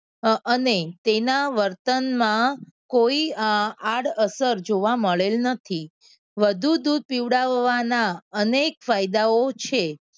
અને તેના વર્તનમાં કોઈ આડઅસર જોવા મળેલ નથી. વધુ દૂધ પીવડાવવાના અનેક ફાયદાઓ છે.